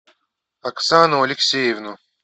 оксану алексеевну